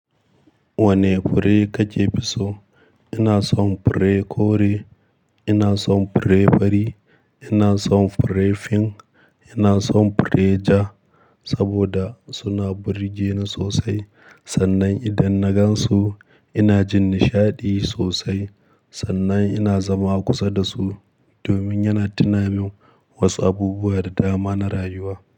Wane fure kake fi so? Ina son fure kore, ina son fure fari, ina son fure fin, ina son fure ja saboda suna burge ni sosai. Sannan idan na gan su ina jin nishaɗi sosai. Sannan ina zama kusa da su domin yana tuna min wasu abubuwa da dama na rayuwa.